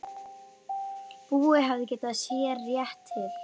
Búi hafði getið sér rétt til.